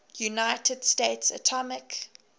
united states atomic